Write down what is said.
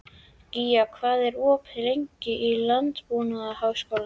Gía, hvað er opið lengi í Landbúnaðarháskólanum?